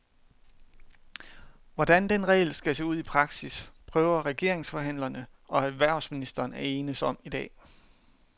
Hvordan den regel skal se ud i praksis, prøver regeringsforhandlerne og erhvervsministeren at enes om i dag.